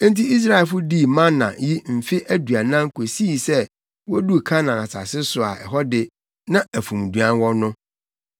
Enti Israelfo dii mana yi mfe aduanan kosii sɛ woduu Kanaan asase so a ɛhɔ de, na afumduan wɔ no.